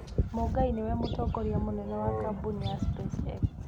Mũngai nĩwe mũtongoria mũnene wa kambuni ya SpaceX.